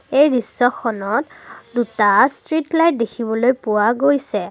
এই দৃশ্যখনত দুটা ষ্ট্ৰিট লাইট দেখিবলৈ পোৱা গৈছে।